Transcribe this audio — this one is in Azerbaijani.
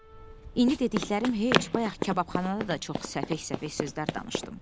İndi dediklərim heç, bayaq kababxanada da çox səfək-səfək sözlər danışdım.